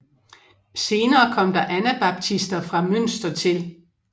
Senere kom der anabaptister fra Münster til